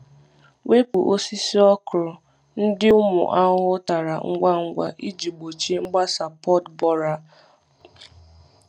Wepu osisi okra ndị ụmụ ahụhụ tara ngwa ngwa iji gbochie mgbasa pod borer. mgbasa pod borer.